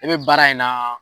I be baara in na